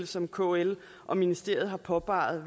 som kl og ministeriet har påpeget